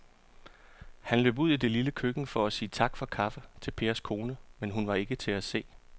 Han løb ud i det lille køkken for at sige tak for kaffe til Pers kone, men hun var ikke til at se.